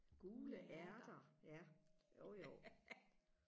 gule ærter ja jo jo